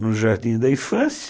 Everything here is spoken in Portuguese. no jardim da infância.